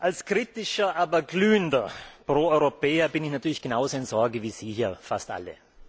Als kritischer, aber glühender Pro Europäer bin ich natürlich genauso in Sorge wie Sie hier fast alle.